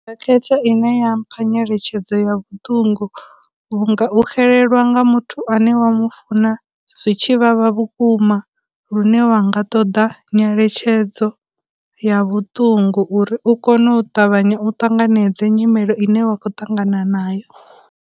Khetsha ine ya mpha nyeletshedzo ya vhuṱungu vhunga u xelelwa nga muthu ane wa mu funa zwitshi vhavha vhukuma lune wanga ṱoḓa nyeletshedzo ya vhuṱungu uri u kono u ṱavhanya u tanganedze nyimelo ine wa khou ṱangana nayo.